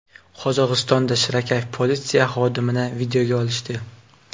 Qozog‘istonda shirakayf politsiya xodimini videoga olishdi .